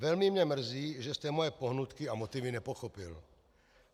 Velmi mě mrzí, že jste moje pohnutky a motivy nepochopil.